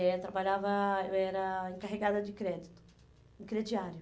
Eu trabalhava... Eu era encarregada de crédito, em crediário.